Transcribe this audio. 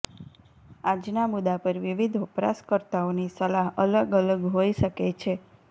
આજના મુદ્દા પર વિવિધ વપરાશકર્તાઓની સલાહ અલગ અલગ હોઈ શકે છે